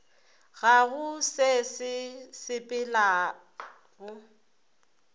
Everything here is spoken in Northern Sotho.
ga go se sa sepelego